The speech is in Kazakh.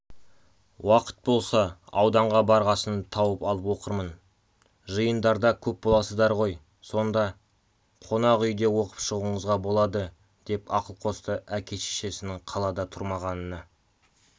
уақыт болса ауданға барғасын тауып алып оқырмын жиындарда көп боласыздар ғой сонда қонақ үйде оқып шығуыңызға болады деп ақыл қосты әке-шешесінің қалада тұрмағанына